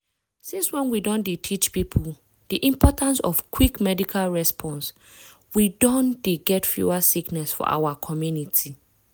since when we don dey teach people di importance of quick medical response we don dey get fewer sickness for our community.